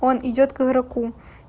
он идёт к игроку